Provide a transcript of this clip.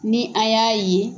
Ni a y'a ye